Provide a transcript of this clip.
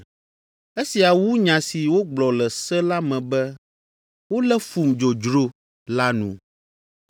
Esia wu nya si wogblɔ le se la me be, ‘Wolé fum dzodzro’ la nu.